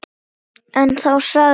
En þá sagði mamma